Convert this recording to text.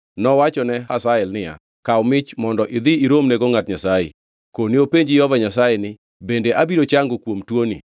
nowachone Hazael niya, “Kaw mich mondo idhi iromnego ngʼat Nyasaye. Kone openj Jehova Nyasaye ni, ‘Bende abiro chango kuom tuoni?’ ”